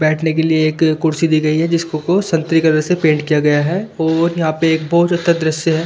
बैठने के लिए एक कुर्सी दी गई है जिसको संतरी कलर से पेंट किया गया है और यहां पे एक बहुत अच्छा दृश्य है ।